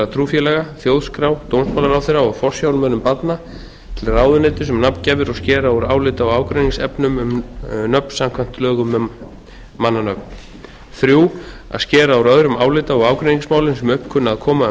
trúfélaga þjóðskrá dómsmálaráðherra og forsjármönnum barna til ráðuneytis um nafngjafir og skera úr álita og ágreiningsefnum um nöfn samkvæmt lögum um mannanöfn þriðja að skera úr öðrum álita eða ágreiningsmálum sem upp kunna að koma um